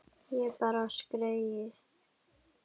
Ég bara skreið